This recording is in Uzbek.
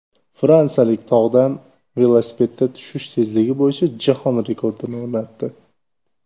Fransiyalik tog‘dan velosipedda tushish tezligi bo‘yicha jahon rekordini o‘rnatdi.